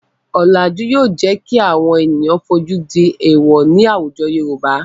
Ọ̀làjú yóò jẹ́ kí àwọn ènìyàn fojú di èwọ̀ ní àwùjọ Yorùbá.